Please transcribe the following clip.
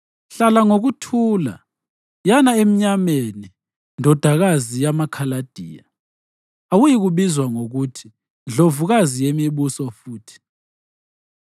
“Hlala ngokuthula, yana emnyameni, ndodakazi yamaKhaladiya; awuyikubizwa ngokuthi ndlovukazi yemibuso futhi.